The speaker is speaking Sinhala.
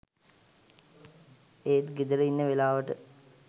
ඒත් ගෙදර ඉන්න වෙලාවට